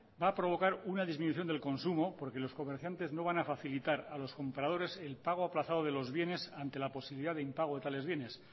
va a provocar una disminución del consumo porque los comerciantes no van a facilitar a los compradores el pago aplazado de los bienes ante la posibilidad de impago de tales bienes